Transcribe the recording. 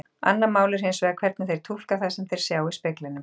Annað mál er hins vegar hvernig þeir túlka það sem þeir sjá í speglinum.